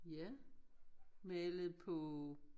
Ja malet på